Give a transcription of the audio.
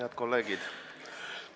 Head kolleegid!